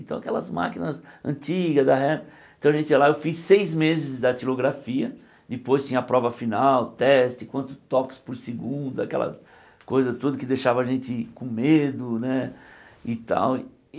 Então aquelas máquinas antigas, então a gente ia lá, eu fiz seis meses de didatilografia, depois tinha a prova final, teste, quantos toques por segundo, aquela coisa toda que deixava a gente com medo né e tal.